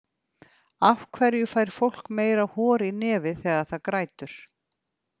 Af hverju fær fólk meira hor í nefið þegar það grætur?